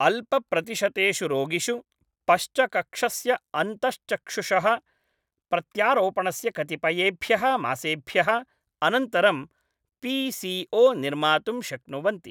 अल्पप्रतिशतेषु रोगिषु पश्चकक्षस्य अन्तःचक्षुषः प्रत्यारोपणस्य कतिपयेभ्यः मासेभ्यः अनन्तरं पीसीओ निर्मातुं शक्नुवन्ति ।